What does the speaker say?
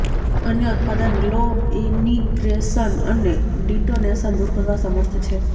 અન્ય ઉત્પાદન glow ignition અને ડિટોનેશન દૂર કરવા સમર્થ છે